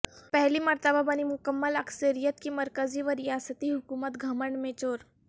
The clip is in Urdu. پہلی مرتبہ بنی مکمل اکثریت کی مرکزی و ریاستی حکومت گھمنڈ میں چور